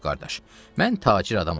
Yox, qardaş, mən tacir adamam.